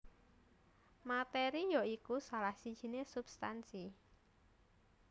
Materi ya iku salah sijiné substansi